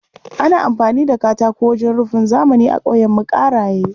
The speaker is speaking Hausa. Ana amfani da katako wajen rufin zamani a ƙauyenmu Ƙaraye.